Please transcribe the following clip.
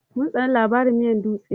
Mun tsane labarin miyar dutse.